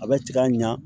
A bɛ tigɛ a ɲa